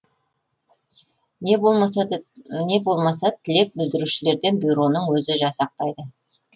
не болмаса тілек білдірушілерден бюроның өзі жасақтайды